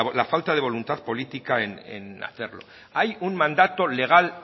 la falta de voluntad política en hacerlo hay un mandato legal